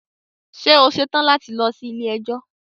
Ṣe o ṣetan lati lọ si ile-ẹjọ?